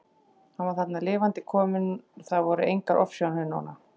Hann var þarna lifandi kominn, það voru engar ofsjónir núna!